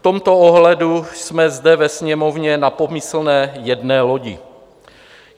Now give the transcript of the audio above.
V tomto ohledu jsme zde ve Sněmovně na pomyslné jedné lodi.